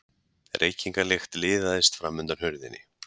Reykingalykt liðaðist fram undan hurðinni.